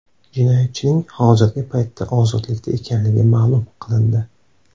Jinoyatchining hozirgi paytda ozodlikda ekanligi ma’lum qilindi.